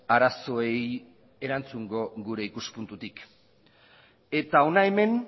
arazoei erantzungo gure ikuspuntutik eta hona hemen